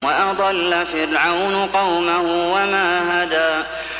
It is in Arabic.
وَأَضَلَّ فِرْعَوْنُ قَوْمَهُ وَمَا هَدَىٰ